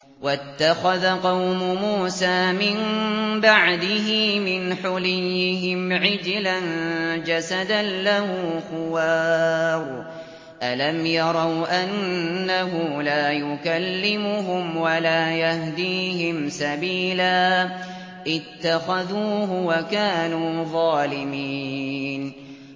وَاتَّخَذَ قَوْمُ مُوسَىٰ مِن بَعْدِهِ مِنْ حُلِيِّهِمْ عِجْلًا جَسَدًا لَّهُ خُوَارٌ ۚ أَلَمْ يَرَوْا أَنَّهُ لَا يُكَلِّمُهُمْ وَلَا يَهْدِيهِمْ سَبِيلًا ۘ اتَّخَذُوهُ وَكَانُوا ظَالِمِينَ